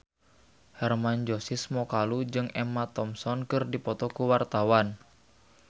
Hermann Josis Mokalu jeung Emma Thompson keur dipoto ku wartawan